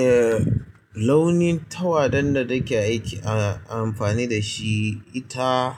Eh, launin tawadan da nake aiki a amfani da shi ita,